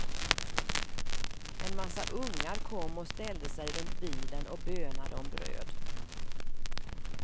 En massa ungar kom och ställde sig runt bilen och bönade om bröd.